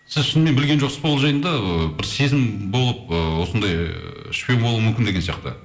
сіз шынымен білген жоқсыз ба ол жайында ыыы бір сезім болып ыыы осындай шпион болуы мүмкін деген сияқты